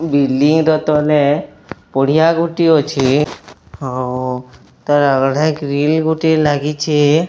Building ଟା ତଲେ ପଡ଼ିଆ ଗୋଟିଏ ଅଛି ଆଉ ତଳେ ଗ୍ରୀଲ୍ ଗୋଟିଏ ଲାଗିଛି।